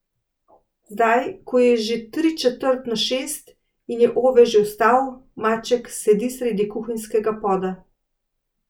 Zdaj ko je že tri četrt na šest in je Ove že vstal, maček sedi sredi kuhinjskega poda.